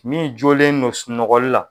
Min jɔlen don sunɔgɔli la